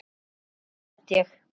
Stundum dett ég.